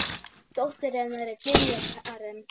Dóttir hennar er Diljá Karen.